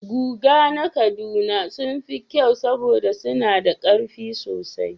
Guga na Kaduna sun fi kyau saboda suna da ƙarfi sosai